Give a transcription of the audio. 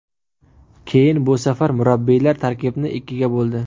Keyin bu safar murabbiylar tarkibni ikkiga bo‘ldi.